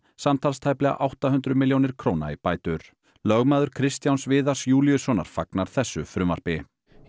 samtals tæplega átta hundruð milljónir króna í bætur lögmaður Kristjáns Viðars Júlíussonar fagnar þessu frumvarpi